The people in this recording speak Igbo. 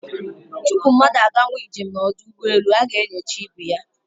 Tupu mmadu a gawa njem n'odu ugboelu, a ga-enyocha ibu ya